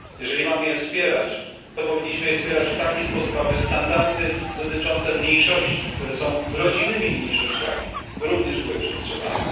Jeżeli mamy je wspierać, to powinniśmy je wspierać w taki sposób, aby standardy dotyczące mniejszości, które są rodzimymi mniejszościami, również były przestrzegane.